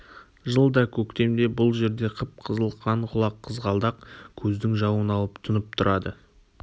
жылда көктемде бұл жерде қып-қызыл қан құлақ қызғалдақ көздің жауын алып тұнып тұрады